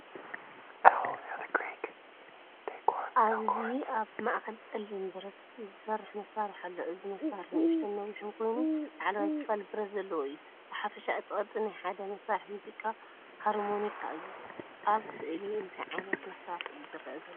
ኣብዚ ኣብ ማእከል ጸሊም ብረት ዝሰርሕ መሳርሒ ኣሎ። እዚ መሳርሒ ንእሽቶን ነዊሕን ኮይኑ፡ ላዕለዋይ ክፋል ብረት ዘለዎ እዩ። ብሓፈሻ እቲ ቅርጺ ናይ ሓደ መሳርሒ ሙዚቃ ናይ ሃርሞኒካ እዩ። ኣብ ስእሊ እንታይ ዓይነት መሳርሒ እዩ ዝረአ ዘሎ?